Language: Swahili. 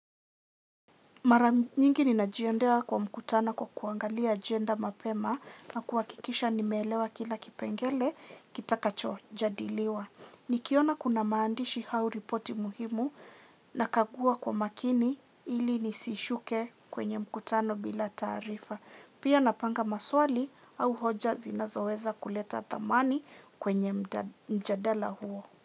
Maramingi ninajianda kwa mkutano kwa kuangalia agenda mapema na kuwakikisha nimelewa kila kipengele kitakacho jadiliwa. Nikiona kuna maandishi hau ripoti muhimu nakagua kwa makini ili nisishuke kwenye mkutano bila tarifa. Pia napanga maswali au hoja zinazoweza kuleta thamani kwenye mjadala huo.